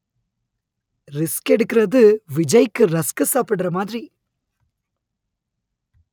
risk எடுக்கிறது விஜய்க்கு rusk சாப்பிடுற மாதிரி